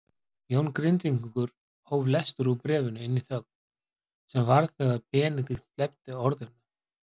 Jón Grindvíkingur hóf lestur úr bréfinu inn í þögn sem varð þegar Benedikt sleppti orðinu